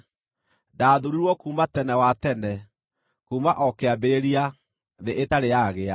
ndaathuurirwo kuuma tene wa tene, kuuma o kĩambĩrĩria, thĩ ĩtarĩ yagĩa.